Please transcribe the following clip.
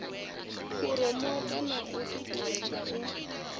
phuromotha na u ṱuṱuwedza u